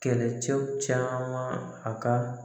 Kɛlɛcɛw caman a ka